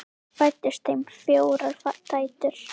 Fæddust þeim fjórar dætur.